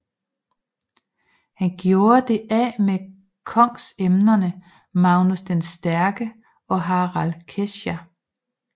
Han gjorde det af med kongsemnerne Magnus den Stærke og Harald Kesja